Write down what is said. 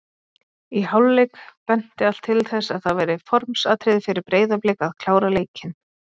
Í hálfleik benti allt til þess að það væri formsatriði fyrir Breiðablik að klára leikinn.